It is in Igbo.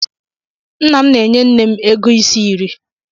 Nna m na-enye nne m ego isi nri.